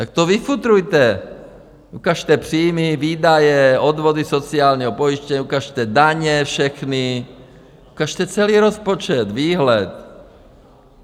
Tak to vyfutrujte, ukažte příjmy, výdaje, odvody sociálního pojištění, ukažte daně všechny, ukažte celý rozpočet, výhled.